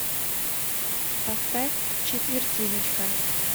поставь четвертиночка